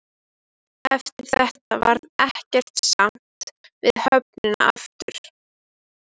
Eftir þetta varð ekkert samt við höfnina aftur.